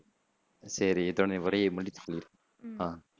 சரி இத்ஹோட என் உரையை முடித்து கொள்கிறேன் அஹ்